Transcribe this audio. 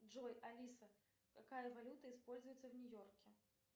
джой алиса какая валюта используется в нью йорке